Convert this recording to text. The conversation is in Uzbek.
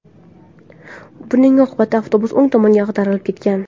Buning oqibatda avtobus o‘ng tomonga ag‘darilib ketgan.